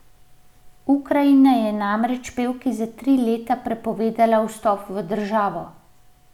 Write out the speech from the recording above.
Ukrajina je namreč pevki za tri leta prepovedala vstop v državo.